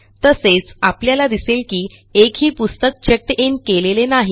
तसेच आपल्याला दिसेल की एकही पुस्तक चेक्ड इन केलेले नाही